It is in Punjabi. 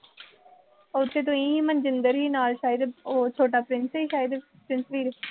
ਉਥੇ ਤੁਸੀਂ ਸੀ, ਨਾਲ ਮਨਜਿੰਦਰ ਵੀ ਸੀ ਸ਼ਾਇਦ, ਉਹ ਛੋਟਾ ਪ੍ਰਿੰਸ ਸੀ ਸ਼ਾਇਦ ਪ੍ਰਿੰਸ ਵੀਰ